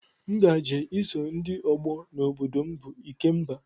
M ga-eje iso ndị ọgbọ na obodo m bụ ikemba